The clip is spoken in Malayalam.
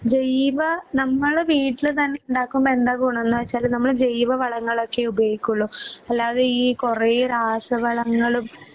ജൈവ നമ്മള് വീട്ടില് തന്നെ ഉണ്ടാകുമ്പോ എന്താ ഗുണംന്ന് വെച്ചാൽ നമ്മള് ജൈവ വളങ്ങളൊക്കെ ഉപയോഗിക്കുവൊള്ളു. അല്ലാതെ ഈ കുറേ രാസവളങ്ങളും